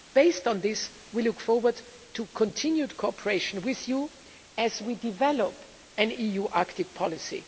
Based on this, we look forward to continued cooperation with you as we develop an EU Arctic policy.